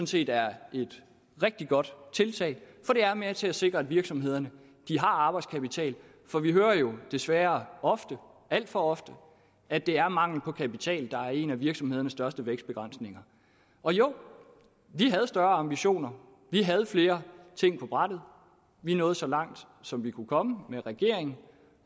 set er et rigtig godt tiltag for det er med til at sikre at virksomhederne har arbejdskapital for vi hører jo desværre ofte alt for ofte at det er mangel på kapital der er en af virksomhedernes største vækstbegrænsninger og jo vi havde større ambitioner vi havde flere ting på brættet vi nåede så langt som vi kunne komme med regeringen